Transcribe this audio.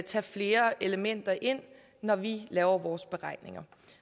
tage flere elementer ind når vi laver vores beregninger